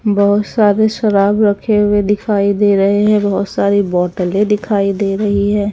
बहोत सारी शराब रखे हुए दिखाई दे रहे है बहोत सारी बोतले दिखाई दे रही है।